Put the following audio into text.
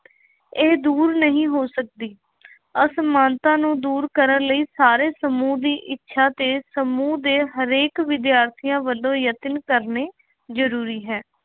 ਇਹ ਦੂਰ ਨਹੀਂ ਹੋ ਸਕਦੀ। ਅਸਮਾਨਤਾ ਨੂੰ ਦੂਰ ਕਰਨ ਲਈ ਸਾਰੇ ਸਮੂਹ ਦੀ ਇੱਛਾ ਤੇ ਸਮੂਹ ਦੇ ਹਰੇਕ ਵਿਦਿਆਰਥੀਆਂ ਵੱਲੋਂ ਯਤਨ ਕਰਨੇ ਜ਼ਰੂਰੀ ਹੈ॥